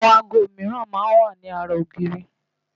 Àwọn aago mìíran máa ń wà lára ogiiri